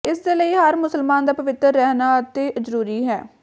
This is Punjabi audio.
ਜਿਸ ਦੇ ਲਈ ਹਰ ਮੁਸਲਮਾਨ ਦਾ ਪਵਿੱਤਰ ਰਹਿਣਾ ਅਤਿ ਜ਼ਰੂਰੀ ਹੈ